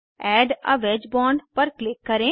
add a wedge bond पर click करें